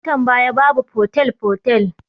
A lokutan baya babu fotel fotel